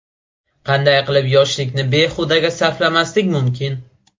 Qanday qilib yoshlikni behudaga sarflamaslik mumkin?.